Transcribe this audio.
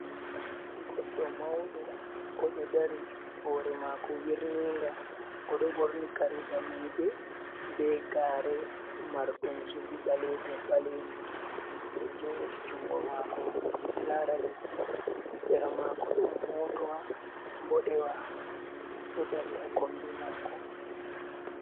Goddo maudo odo dari hore mako wirniga odo borni kare daneje be gare mardum zubi balejum balejum, odo jimmiti jungo mako lara leddi, sera mako don motowa bodewa do dari ha kombe mako.